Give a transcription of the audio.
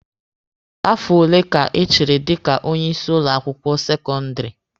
Afo ole ka ị chịrị dika onye isi ụlọ akwụkwọ sekọndịrị?